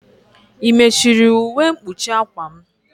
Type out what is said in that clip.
I mechuru ụwe mkpuchi akwa m?